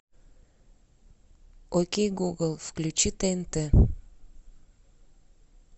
окей гугл включи тнт